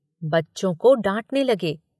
बच्चों को डाँटने लगे।